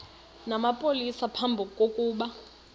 namapolisa phambi kokuba